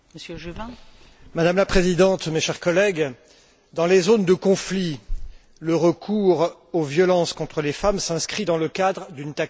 Madame la Présidente, chers collègues, dans les zones de conflit, le recours aux violences contre les femmes s'inscrit dans le cadre d'une tactique délibérée.